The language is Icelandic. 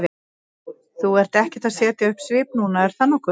Þú ert ekkert að setja upp svip núna, er það nokkuð?